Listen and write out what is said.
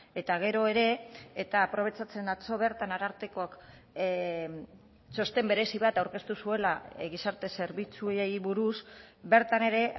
eta gero ere eta aprobetxatzen atzo bertan arartekoak txosten berezi bat aurkeztu zuela gizarte zerbitzuei buruz bertan ere